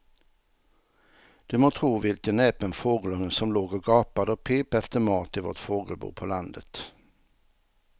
Du må tro vilken näpen fågelunge som låg och gapade och pep efter mat i vårt fågelbo på landet.